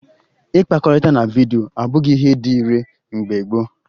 Ịkpakọrịta na vidyo abụghị ihe dị ire mgbe gboo